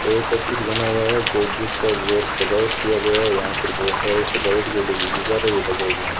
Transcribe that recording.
एक ऑफिस बना हुआ है जो जिस पर रेड सजावट किया गया है यहां पर बहोत सारे सजावट के लिए गुब्बारे भी लगाए गए --